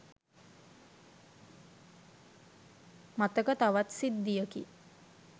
මතක තවත් සිද්ධියකි.